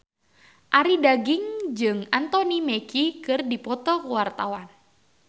Arie Daginks jeung Anthony Mackie keur dipoto ku wartawan